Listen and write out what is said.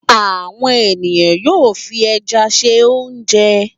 Àwọn ènìyàn yóò fi ẹja se oúnjẹ.